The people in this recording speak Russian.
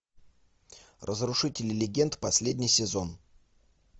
разрушители легенд последний сезон